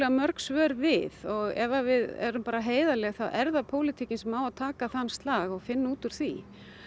mörg svör við ef við erum heiðarleg þá er það pólitíkin sem á að taka þann slag og finna út úr því